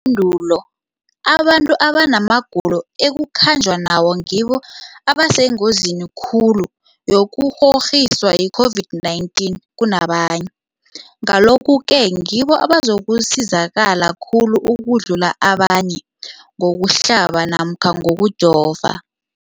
Ipendulo, abantu abanamagulo ekukhanjwa nawo ngibo abasengozini khulu yokukghokghiswa yi-COVID-19 kunabanye, Ngalokhu-ke ngibo abazakusizakala khulu ukudlula abanye ngokuhlaba namkha ngokujova.